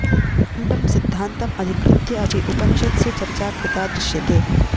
quantum सिध्दान्तम् अधिकृत्य अपि उपनिषत्सु चर्चा कृता दृश्यते